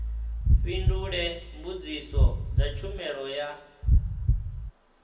fhindule mbudziso dza tshumelo ya